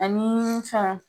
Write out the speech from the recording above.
Ani fɛn